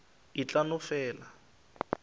e tla no fela e